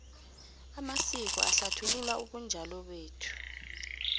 amasiko ahlathulula ubunjalo bethu